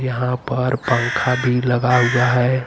यहाँ पर पंखा भी लगा हुआ है।